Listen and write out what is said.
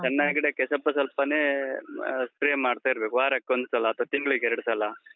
ಸಣ್ಣ ಗಿಡಕ್ಕೆ, ಸ್ವಲ್ಪ ಸ್ವಲ್ಪನೇ ಅಹ್ spray ಮಾಡ್ತಾ ಇರ್ಬೇಕು. ವಾರಕ್ಕೊಂದ್ಸಲ ಅಥವಾ ತಿಂಗ್ಳಿಗೆ ಎರಡ್ ಸಲ.